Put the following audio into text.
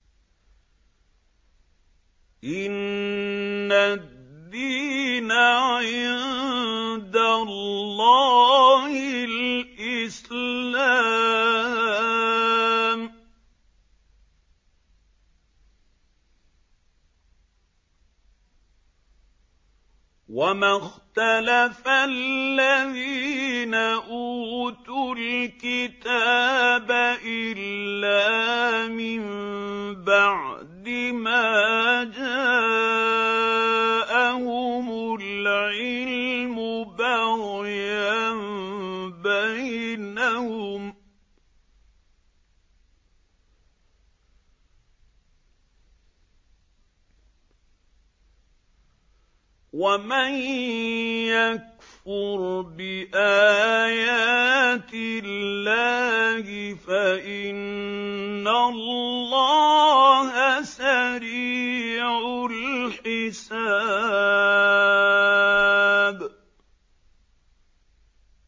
إِنَّ الدِّينَ عِندَ اللَّهِ الْإِسْلَامُ ۗ وَمَا اخْتَلَفَ الَّذِينَ أُوتُوا الْكِتَابَ إِلَّا مِن بَعْدِ مَا جَاءَهُمُ الْعِلْمُ بَغْيًا بَيْنَهُمْ ۗ وَمَن يَكْفُرْ بِآيَاتِ اللَّهِ فَإِنَّ اللَّهَ سَرِيعُ الْحِسَابِ